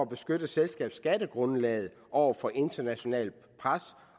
beskytte selskabsskattegrundlaget over for internationalt pres